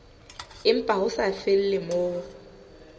empa ho sa felle moo